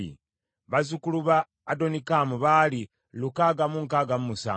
bazzukulu ba Adonikamu baali lukaaga mu nkaaga mu musanvu (667),